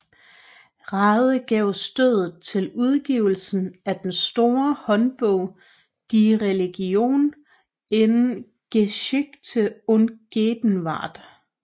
Rade gav stødet til udgivelsen af den store håndordbog Die Religion in Geschichte und Gegenwart